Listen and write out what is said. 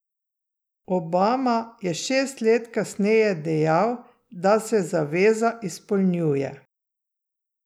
Obama je šest let kasneje dejal, da se zaveza izpolnjuje.